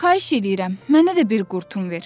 Xahiş edirəm, mənə də bir qurtum ver.